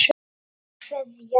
HINSTA KVEÐJA.